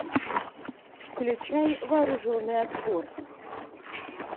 включай вооруженный отпор